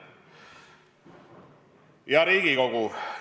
Hea Riigikogu!